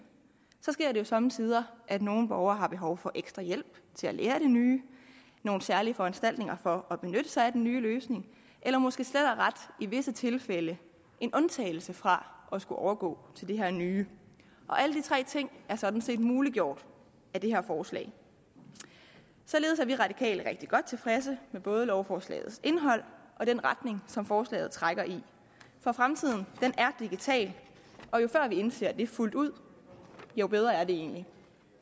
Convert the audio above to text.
sker det jo somme tider at nogle borgere har behov for ekstra hjælp til at lære det nye nogle særlige foranstaltninger for at benytte sig af den nye løsning eller måske slet og ret i visse tilfælde en undtagelse fra at skulle overgå til det her nye og alle de tre ting er sådan set muliggjort af det her forslag således er vi radikale rigtig godt tilfredse med både lovforslagets indhold og den retning som forslaget trækker i for fremtiden er digital og jo før vi indser det fuldt ud jo bedre er det egentlig